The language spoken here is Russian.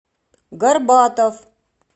горбатов